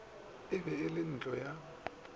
be e le ntlo ya